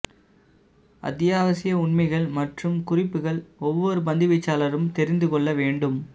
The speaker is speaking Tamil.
அத்தியாவசிய உண்மைகள் மற்றும் குறிப்புகள் ஒவ்வொரு பந்துவீச்சாளரும் தெரிந்து கொள்ள வேண்டும்